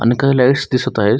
आणि काही लाइटस दिसत आहेत.